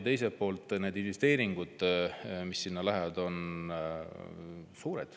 Teiselt poolt on need suured investeeringud, mis sinna lähevad.